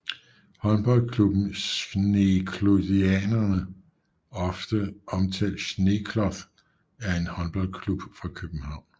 Håndboldklubben Schneeklothianerne ofte omtant Schneekloth er en håndboldklub fra København